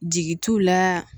Jigi t'u la